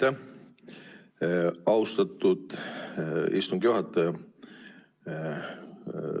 Aitäh, austatud istungi juhataja!